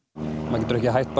maður getur ekki hætt